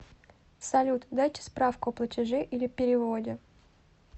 салют дайте справку о платеже или переводе